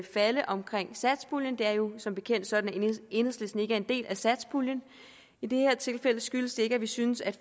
falde om satspuljen det er jo som bekendt sådan at enhedslisten ikke er en del af satspuljen i det her tilfælde skyldes det ikke at vi synes at